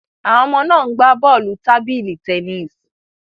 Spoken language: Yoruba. Àwọn ọmọ náà ń gbá bọ́ọ̀lù tábìlì tennis